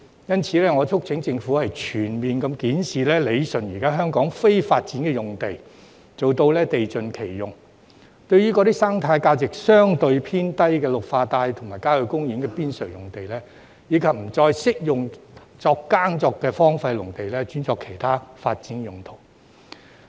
因此，我促請政府全面檢視、理順香港現時的非發展用地，做到地盡其用，對於生態價值相對偏低的綠化帶及郊野公園邊陲用地，以及不再適合耕作的荒廢農地，轉作其他發展用途。